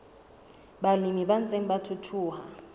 balemi ba ntseng ba thuthuha